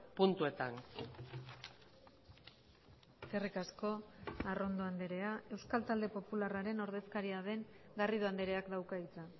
puntuetan eskerrik asko arrondo andrea euskal talde popularraren ordezkaria den garrido andreak dauka hitza